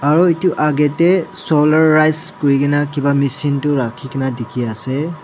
aro etu agey tey solarise kori kena kiba machine tu rakhi kena dekhi ase.